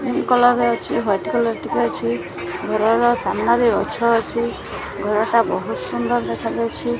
Pink colour ଅଛି white colour ଟିକେ ଅଛି ଘରର ସାମ୍ନାରେ ଗଛ ଅଛି ଘରଟା ବହୁତ ସୁନ୍ଦର ଦେଖାଯାଉଛି।